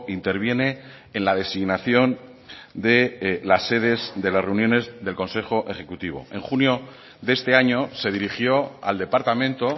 interviene en la designación de las sedes de las reuniones del consejo ejecutivo en junio de este año se dirigió al departamento